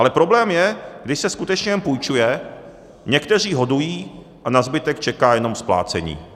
Ale problém je, když se skutečně jen půjčuje, někteří hodují a na zbytek čeká jenom splácení.